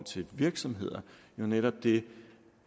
til virksomheder jo netop det